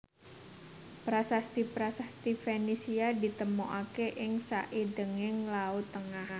Prasasti prasasti Fenisia ditemokaké ing saindhenging Laut Tengah